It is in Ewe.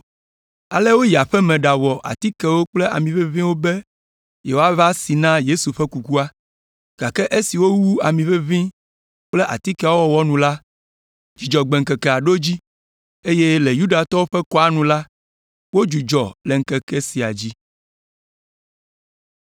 Ale woyi aƒe me ɖawɔ atikewo kple ami ʋeʋĩwo be yewoava si na Yesu ƒe kukua. Gake esi wowu ami ʋeʋĩwo kple atikeawo wɔwɔ nu la, Dzudzɔgbe ŋkekea ɖo edzi, eye le Yudatɔwo ƒe kɔa nu la, wodzudzɔ le ŋkeke sia dzi.